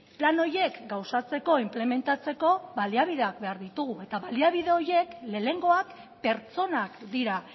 plan horiek gauzatzeko inplementatzeko baliabideak behar ditugu eta baliabide horiek lehenengoak pertsonak dira